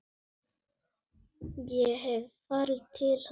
Ég hef farið til hans.